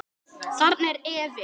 Þarna er efinn.